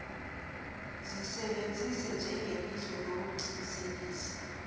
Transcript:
zisebenza njengelihlo lokuqinisekisa